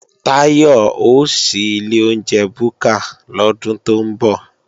Táyọ̀ ó ṣí ilé oúnjẹ búkà lọ́dún tó ń bọ̀